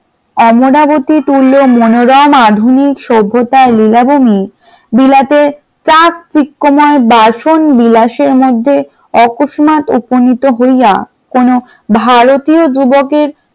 অমরাবতী তুল্য মনোরম আধুনিক সভ্যতা লীলাভূমি বিলাতে চাকচিক্যময় বাসনবিলাস এর মধ্যে আকস্মাত উপনীত হইয়া কোন ভারতীয় যুবকের,